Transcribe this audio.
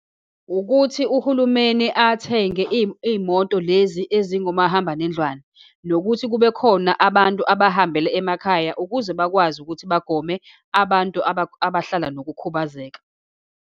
Ukuthi uhulumeni athenge iy'moto lezi ezingu mahambanendlwane, nokuthi kube khona abantu abahambela emakhaya ukuze bakwazi ukuthi bagome abantu abahlala nokukhubazeka.